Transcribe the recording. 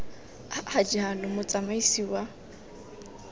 a a jalo motsamaisi wa